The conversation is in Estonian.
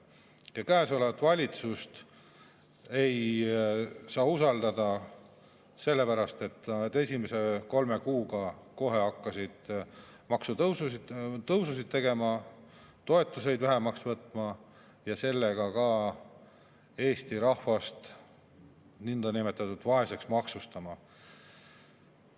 Ametis olevat valitsust ei saa usaldada sellepärast, et esimese kolme kuu jooksul hakkasid nad kohe maksutõususid tegema, toetusi vähemaks võtma ja sellega Eesti rahvast vaeseks maksustama.